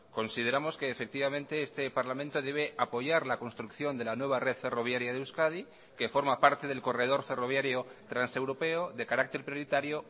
consideramos que efectivamente este parlamento debe apoyar la construcción de la nueva red ferroviaria de euskadi que forma parte del corredor ferroviario transeuropeo de carácter prioritario